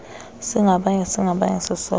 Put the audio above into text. singabanye ngabanye sisoloko